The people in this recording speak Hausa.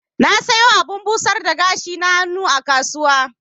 Na siyo abun busar da gashi na hannu a kasuwa.